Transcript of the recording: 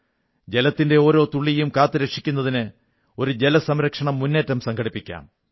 ജലത്തിന്റെ ഓരോ തുള്ളിയും കാത്തുരക്ഷിക്കുന്നതിന് ഒരു ജലസംരക്ഷണമുന്നേറ്റം സംഘടിപ്പിക്കാം